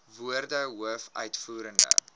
woorde hoof uitvoerende